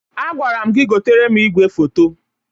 Agwara m gị gotere m igwefoto.